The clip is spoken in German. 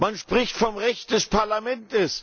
Man spricht vom Recht des Parlaments.